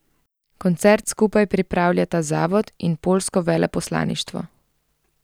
Koncert skupaj pripravljata zavod in poljsko veleposlaništvo.